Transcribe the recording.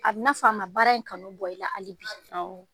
A b'i n'a fɔ a ma baara in kanu bɔ i la hali bi